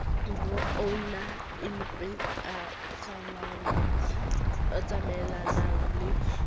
bo oonaempa a tsamaellanang le